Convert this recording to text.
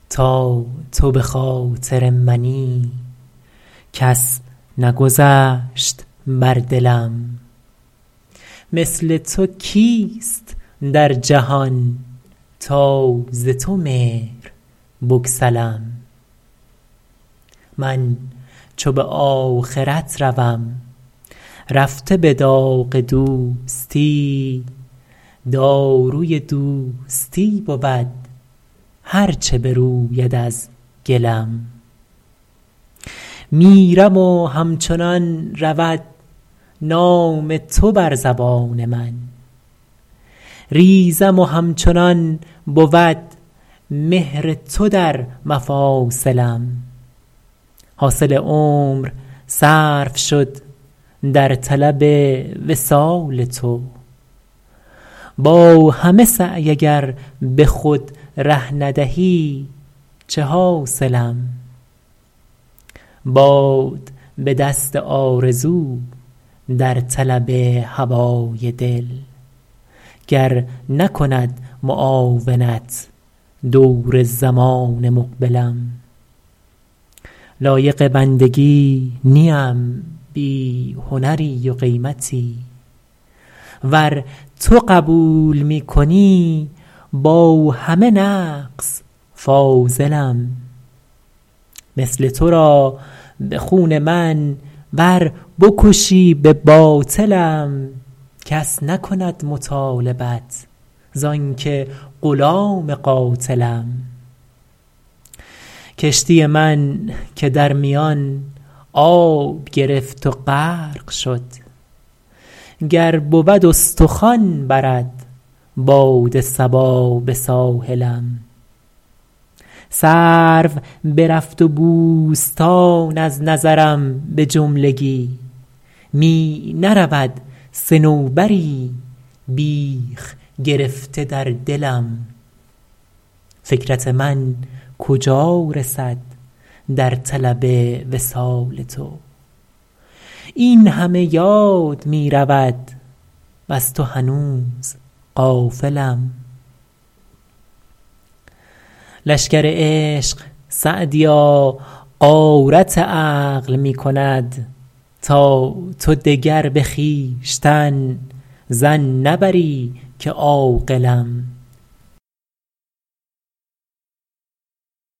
تا تو به خاطر منی کس نگذشت بر دلم مثل تو کیست در جهان تا ز تو مهر بگسلم من چو به آخرت روم رفته به داغ دوستی داروی دوستی بود هر چه بروید از گلم میرم و همچنان رود نام تو بر زبان من ریزم و همچنان بود مهر تو در مفاصلم حاصل عمر صرف شد در طلب وصال تو با همه سعی اگر به خود ره ندهی چه حاصلم باد بدست آرزو در طلب هوای دل گر نکند معاونت دور زمان مقبلم لایق بندگی نیم بی هنری و قیمتی ور تو قبول می کنی با همه نقص فاضلم مثل تو را به خون من ور بکشی به باطلم کس نکند مطالبت زان که غلام قاتلم کشتی من که در میان آب گرفت و غرق شد گر بود استخوان برد باد صبا به ساحلم سرو برفت و بوستان از نظرم به جملگی می نرود صنوبری بیخ گرفته در دلم فکرت من کجا رسد در طلب وصال تو این همه یاد می رود وز تو هنوز غافلم لشکر عشق سعدیا غارت عقل می کند تا تو دگر به خویشتن ظن نبری که عاقلم